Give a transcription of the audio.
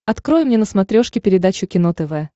открой мне на смотрешке передачу кино тв